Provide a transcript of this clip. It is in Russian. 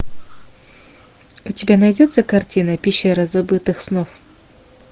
у тебя найдется картина пещера забытых снов